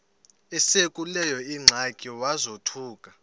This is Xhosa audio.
esekuleyo ingxaki wazothuka